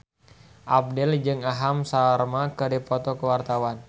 Abdel jeung Aham Sharma keur dipoto ku wartawan